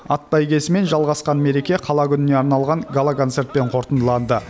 ат бәйгесімен жалғасқан мереке қала күніне арналған гала концертпен қорытындыланды